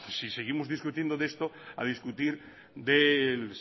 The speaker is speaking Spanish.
si seguimos discutiendo de esto a discutir del